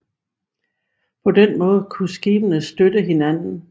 På den måde kunne skibene støtte hinanden